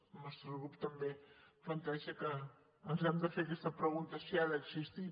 el nostre grup també planteja que ens hem de fer aquesta pregunta de si ha d’existir